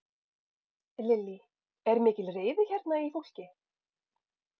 Lillý: Er mikil reiði hérna í fólki?